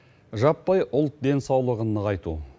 жаппай ұлт денсаулығын нығайту